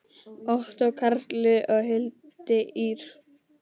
Ottó Karli og Hildi Ýr.